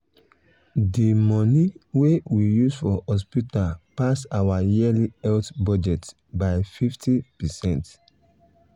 the money wey we use for hospital pass our yearly health budget by 50%.